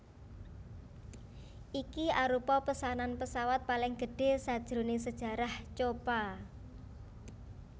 Iki arupa pesanan pesawat paling gedhe sajroe sejarah Copa